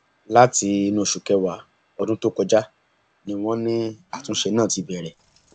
láti inú oṣù kẹwàá ọdún tó kọjá ni wọn ní àtúnṣe náà ti bẹrẹ